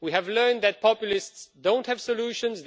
We have learned that populists don't have solutions